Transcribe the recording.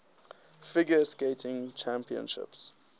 figure skating championships